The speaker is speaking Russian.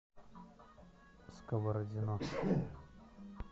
сковородино